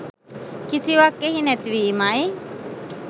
කිසිවක් එහි නැති වීමයි.